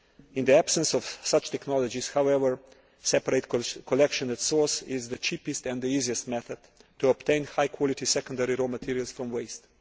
In the absence of such technologies, however, separate collection at source is the cheapest and the easiest method to obtain high quality secondary raw materials from waste.